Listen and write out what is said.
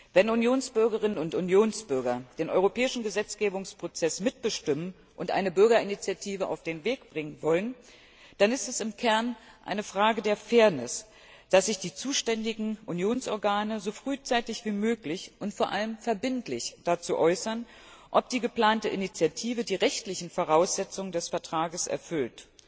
Wenn Unionsbürgerinnen und Unionsbürger den europäischen Gesetzgebungsprozess mitbestimmen und eine Bürgerinitiative auf den Weg bringen wollen, dann ist es im Kern eine Frage der Fairness, dass sich die zuständigen Unionsorgane so frühzeitig wie möglich und vor allem verbindlich dazu äußern, ob die geplante Initiative die rechtlichen Voraussetzungen des Vertrags erfüllt.